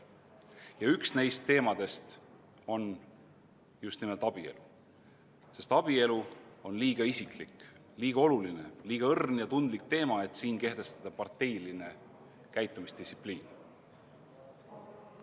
Ja üks neist teemadest on just nimelt abielu, sest abielu on liiga isiklik, liiga oluline, liiga õrn ja tundlik teema, et kehtestada siin parteiline käitumisdistsipliin.